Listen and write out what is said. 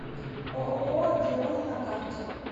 ооо диона на карте